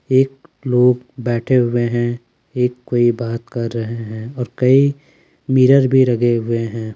एक लोग बैठे हुए है एक कोई बात कर रहे हैं और कई मिरर भी लगे हुए है।